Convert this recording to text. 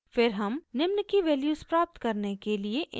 फिर हम निम्न की वैल्यूज़ प्राप्त करने के लिए इनपुट फंक्शन उपयोग करते हैं